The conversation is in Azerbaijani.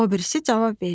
O birisi cavab verir: